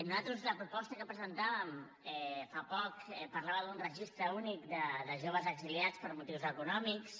nosaltres la proposta que presentàvem fa poc parlava d’un registre únic de joves exiliats per motius econòmics